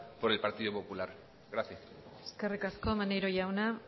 por el partido popular gracias eskerrik asko maneiro jauna